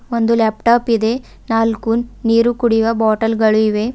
ಒಂದು ಲ್ಯಾಪ್ಟಾಪ್ ಇದೆ ನಾಲ್ಕು ನೀರು ಕುಡಿಯುವ ಬಾಟಲ್ ಗಳು ಇವೆ.